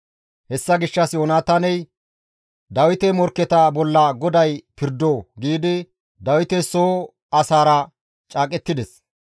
Hessa gishshas Yoonataaney, «Dawite morkketa bolla GODAY pirdo!» giidi Dawite soo asaara caaqettides.